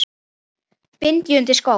bind ég undir skó